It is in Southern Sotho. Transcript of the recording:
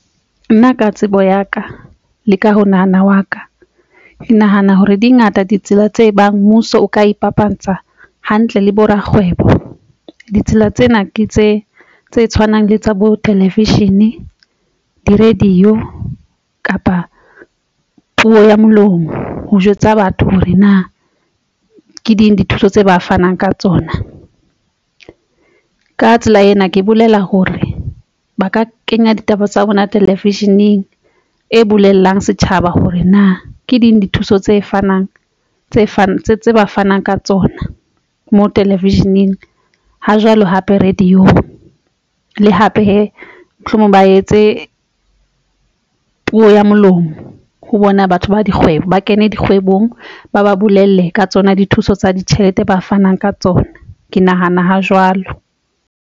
Nna ka tsebo ya ka le ka ho nahana wa ka. Ke nahana hore dingata ditsela tse bang mmuso o ka ipapatsa hantle le bo rakgwebo. Ditsela tsena ke tse tse tshwanang le tsa bo television, di-radio kapa puo ya molomo. Ho jwetsa batho hore na ke ding dithuso tse ba fanang ka tsona. Ka tsela ena, ke bolela hore ba ka kenya ditaba tsa bona television-eng e bolelang setjhaba hore na ke ding dithuso tse fanang tse fapaneng tse fanang ka tsona mo television-eng ha jwale hape radio-ng le hape mohlomong ba etse puo ya molomo ho bona batho ba dikgwebo ba kene dikgwebong, ba ba bolelle ka tsona dithuso tsa ditjhelete ba fanang ka tsona. Ke nahana ho jwalo.